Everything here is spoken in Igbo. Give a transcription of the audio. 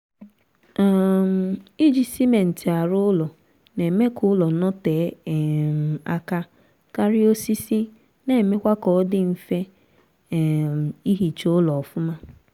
um iji simentị arụ ụlọ na-eme ka ụlọ notee um aka karịa osisi na-emekwa kaọdị mfe um ihicha ụlọ ọfụma